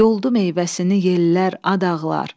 Yoldu meyvəsini yellər, ad ağlar.